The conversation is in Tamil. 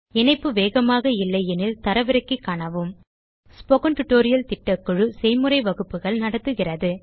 இணைப்பு வேகமாக இல்லையெனில் தரவிறக்கி காணவும் ஸ்போக்கன் டியூட்டோரியல் திட்டக்குழு ஸ்போக்கன் tutorial களைப் பயன்படுத்தி செய்முறை வகுப்புகள் நடத்துகிறது